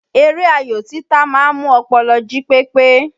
Eré ayò títa ma ń mú ọpọlọ jí pépé.